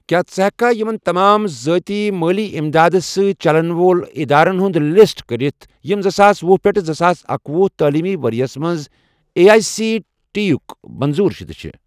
کیٛاہ ژٕ ہیٚککھا یِمَن تمام ذٲتی مٲلی اِمداد سۭتۍ چَلن وول ادارن ہُنٛد لسٹ کٔرتھ یِم زٕساس ۄہُ پیٹھ زٕساس اکۄہُ تعلیٖمی ورۍ یَس مَنٛز اے آٮٔۍ سی ٹی یُک منظوٗر شُدٕ چھِ؟